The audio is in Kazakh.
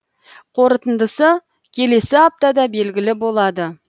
қорытындысы келесі аптада белгілі болады